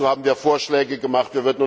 Dazu haben wir Vorschläge gemacht.